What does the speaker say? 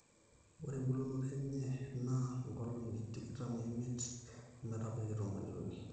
ore embulunoto enye naa nkolong'i tikitam ooiimiet ometabaiki tomoniuni